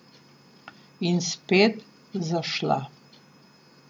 In spet zašla.